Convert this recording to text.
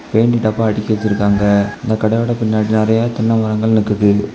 Paint டப்பா அடக்கி வச்சிருக்காங்க அந்த கடையோட பின்னாடி நெறைய தென்ன மரங்கள் நிக்குது.